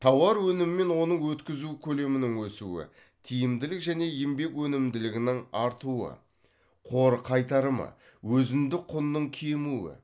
тауар өнімі мен оны өткізу көлемінің өсуі тиімділік және еңбек өнімділігінің артуы қор қайтарымы өзіндік құнның кемуі